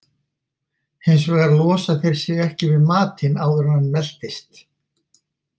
Hins vegar losa þeir sig ekki við matinn áður en hann meltist.